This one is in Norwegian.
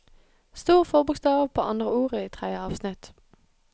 Stor forbokstav på andre ord i tredje avsnitt